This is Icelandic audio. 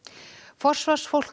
forsvarsfólk